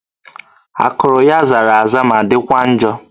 Akụrụ ya zara aza ma dịkwa njọ